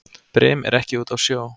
Brim er ekki úti á sjó.